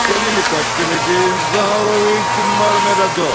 Kəndimi takdim edeyim, Zaharoviç Marmeladov.